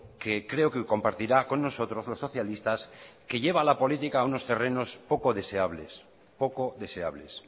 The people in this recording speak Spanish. que creo que compartirá con nosotros los socialistas que lleva a la política a unos terrenos poco deseables poco deseables